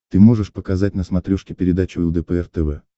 ты можешь показать на смотрешке передачу лдпр тв